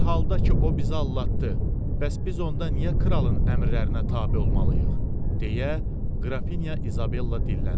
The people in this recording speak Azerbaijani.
Bir halda ki o bizi aldatdı, bəs biz onda niyə kralın əmrlərinə tabe olmalıyıq, deyə qrafinya İzabella dilləndi.